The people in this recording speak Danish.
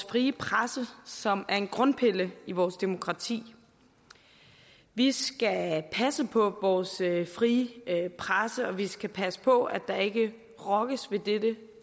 frie presse som er en grundpille i vores demokrati vi skal passe på vores frie presse og vi skal passe på at der ikke rokkes ved dette